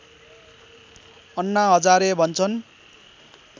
अन्ना हजारे भन्छन्